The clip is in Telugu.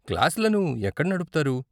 క్లాసులను ఎక్కడ నడుపుతారు?